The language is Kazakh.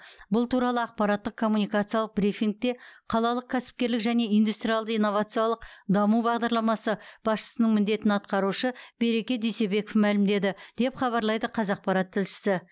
бұл туралы ақпараттық коммуникациялық брифингте қалалық кәсіпкерлік және индустриалды инновациялық даму бағдарламасы басшысының міндетін атқарушы береке дүйсебеков мәлімдеді деп хабарлайды қазақпарат тілшісі